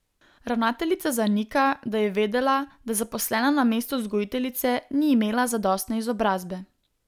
Ravnateljica zanika, da je vedela, da zaposlena na mestu vzgojiteljice ni imela zadostne izobrazbe.